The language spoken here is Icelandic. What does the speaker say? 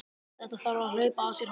Þetta þarf að hlaupa af sér hornin!